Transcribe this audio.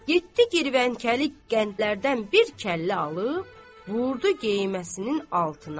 Getdi girvənkəlik qəndlərdən bir kəllə alıb, vurdu geyməsinin altına.